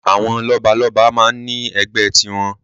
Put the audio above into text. Àwọn lọ́balọ́ba máa ń ní ẹgbẹ́ tiwọn.